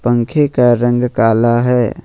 पंखे का रंग काला है ।